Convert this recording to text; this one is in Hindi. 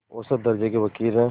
औसत दर्ज़े के वक़ील हैं